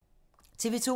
TV 2